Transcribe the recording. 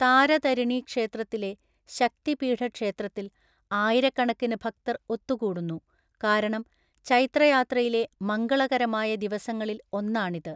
താരതരിണി ക്ഷേത്രത്തിലെ ശക്തിപീഠക്ഷേത്രത്തിൽ ആയിരക്കണക്കിന് ഭക്തർ ഒത്തുകൂടുന്നു, കാരണം ചൈത്രയാത്രയിലെ മംഗളകരമായ ദിവസങ്ങളിൽ ഒന്നാണിത്.